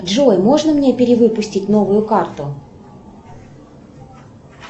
джой можно мне перевыпустить новую карту